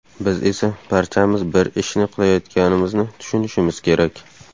Biz esa barchamiz bir ishni qilayotganimizni tushunishimiz kerak.